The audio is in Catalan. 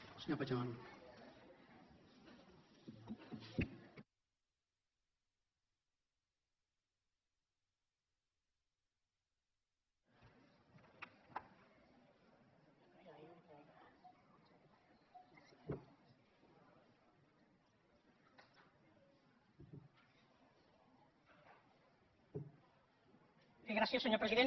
bé gràcies senyor president